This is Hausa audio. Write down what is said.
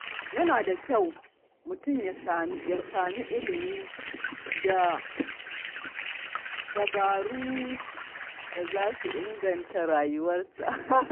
Yana da kyau mutum ya nemi ilimi da dabaru da za su inganta rayuwarsa.